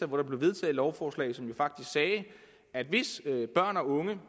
var vedtog et lovforslag som faktisk sagde at hvis børn og unge